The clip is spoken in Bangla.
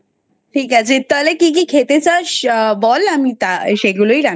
ঠিক আছে তাহলে কি কি খেতে চাস বল ,আমি তা সেগুলোই রান্না করবো।